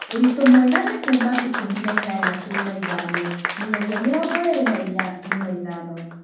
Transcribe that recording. Ũritũmwega nĩ kuuma ikũmi na inyanya turuma ithano nginyagia mĩrongo ĩĩrĩ na inya turuma ithano